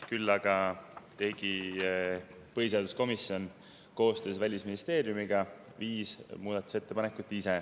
Küll aga tegi põhiseaduskomisjon ise koostöös Välisministeeriumiga viis muudatusettepanekut.